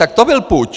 Tak to byl puč.